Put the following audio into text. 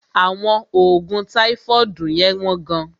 Àwọn oògùn táífọ́ọ̀dù yẹ́n wọ́n gán.